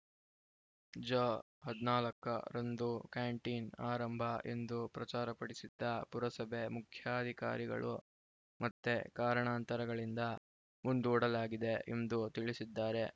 ಜ ಹದಿನಾಲ್ಕರಂದು ಕ್ಯಾಂಟೀನ್‌ ಆರಂಭ ಎಂದು ಪ್ರಚಾರಪಡಿಸಿದ್ದ ಪುರಸಭೆ ಮುಖ್ಯಾಧಿಕಾರಿಗಳು ಮತ್ತೆ ಕಾರಣಾಂತರಗಳಿಂದ ಮುಂದೂಡಲಾಗಿದೆ ಎಂದು ತಿಳಿಸಿದ್ದಾರೆ